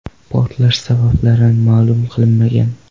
Portlash sabablari ma’lum qilinmagan.